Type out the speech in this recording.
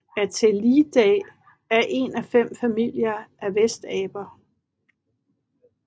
Atelidae er en af fem familier af vestaber